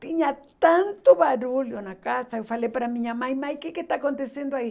Tinha tanto barulho na casa, eu falei para a minha mãe, mãe, o que que está acontecendo aí?